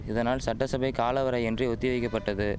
இதனால் சட்டசபை காலவரையென்றி ஒத்தி வைக்கபட்டது